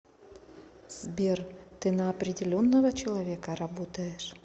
сбер ты на определенного человека работаешь